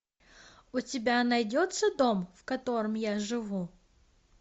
у тебя найдется дом в котором я живу